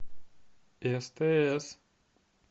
стс